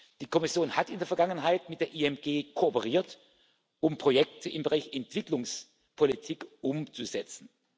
ist. Die Kommission hat in der Vergangenheit mit der IMG kooperiert, um Projekte im Bereich Entwicklungspolitik umzusetzen.